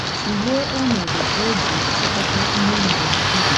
Tụlee ọnọdụ o ji chịkọta Ihe E Mere n'okpuru ya.